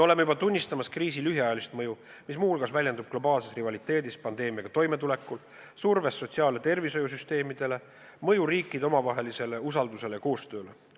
Me juba näeme kriisi mõju, mis muu hulgas väljendub globaalses rivaliteedis pandeemiaga toimetulekul, surves sotsiaal- ja tervishoiusüsteemidele, mõju riikide omavahelisele usaldusele ja koostööle.